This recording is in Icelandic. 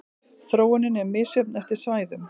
Þróunin er misjöfn eftir svæðum.